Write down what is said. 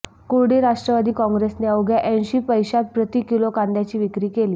कुर्डी राष्ट्रवादी काँग्रेसने अवघ्या ऐंशी पैशात प्रति किलो कांद्याची विक्री केली